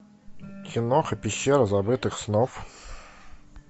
киноха пещера забытых снов